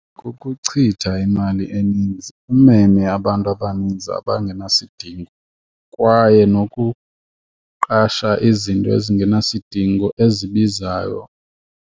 Kukuchitha imali eninzi, umeme abantu abaninzi abangenasidingo kwaye nokuqasha izinto ezingenasidingo ezibizayo.